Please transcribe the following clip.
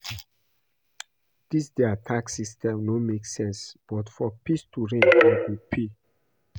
Dis their tax system no make sense but for peace to reign I go pay